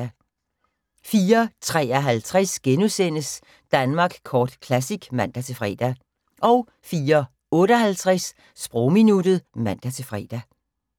04:53: Danmark Kort Classic *(man-fre) 04:58: Sprogminuttet (man-fre)